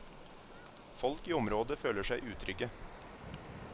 Folk i området føler seg utrygge.